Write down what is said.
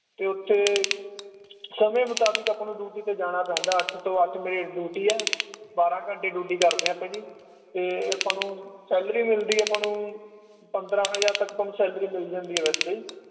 ਤੇ ਓਥੇ ਸਮੇ ਮੁਤਾਬਕ ਆਪਾਂ ਨੂੰ duty ਤੇ ਜਾਨਾ ਪੈਂਦਾ ਅੱਠ ਤੋਂ ਅੱਠ ਮੇਰੀ duty ਆ ਬਾਰ੍ਹਾਂ ਘੰਟੇ duty ਕਰਦੇ ਆਪਾਂ ਜੀ ਤੇ ਆਪਾਂ ਨੂੰ salary ਮਿਲਦੀ ਆ ਆਪਾਂ ਨੂੰ ਪੰਦ੍ਰਹ ਕ ਹਜਾਰ ਤੱਕ ਸਾਨੂੰ salary ਮਿਲ ਜਾਂਦੀ ਆ ਵੈਸੇ